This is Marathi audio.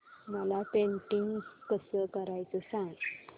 मला पेंटिंग कसं करायचं सांग